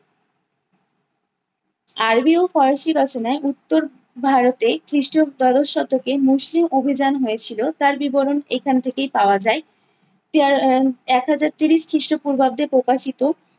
আরবি ও ফরাসি রচনায় উত্তর ভারতে খ্রিস্টীয় দ্বাদশ শতকে মুসলিম অভিযান হয়েছিল, তার বিবরণ এখান থেকেই পাওয়া যায়। এর একহাজার ত্রিশ খ্রিস্টপূর্বাব্দে প্রকাশিত